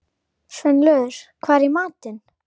Sveinlaugur, hvað er í matinn?